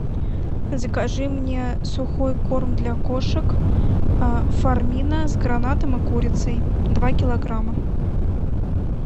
закажи мне сухой корм для кошек фармина с гранатом и курицей два килограмма